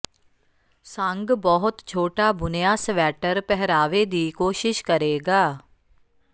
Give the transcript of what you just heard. ਸੰਗ ਬਹੁਤ ਛੋਟਾ ਬੁਣਿਆ ਸਵੈਟਰ ਪਹਿਰਾਵੇ ਦੀ ਕੋਸ਼ਿਸ਼ ਕਰੇਗਾ